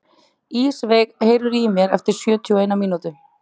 Ísveig, heyrðu í mér eftir sjötíu og eina mínútur.